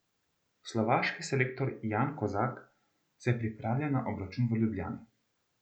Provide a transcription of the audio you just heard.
Slovaški selektor Jan Kozak se pripravlja na obračun v Ljubljani.